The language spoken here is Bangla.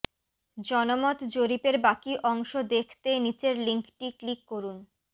জনমত জরিপের বাকী অংশ দেখতে নিচের লিংকটি ক্লিক করুন